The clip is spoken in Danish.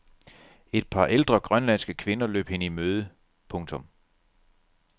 Et par ældre grønlandske kvinder løb hende i møde. punktum